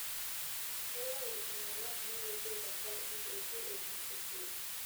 Kelau iltung'ana kumok esiai tenkaraki eitu epuo sukuul.